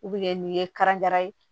nin ye karan ye